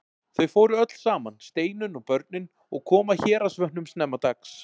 Þau fóru öll saman, Steinunn og börnin, og komu að Héraðsvötnum snemma dags.